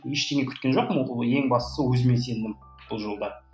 ештеңе күткен жоқпын ең бастысы өзіме сендім бұл жолы да